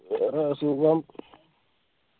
വേറെ സുഖം